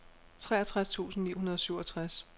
treogtres tusind ni hundrede og syvogtres